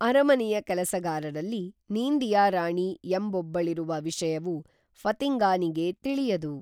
ಅರಮನೆಯ ಕೆಲಸಗಾರರಲ್ಲಿ ನೀಂದಿಯಾರಾಣಿ ಎಂಬೊಬ್ಬಳಿರುವ ವಿಷಯವು ಫತಿಂಗಾನಿಗೇ ತಿಳಿಯದು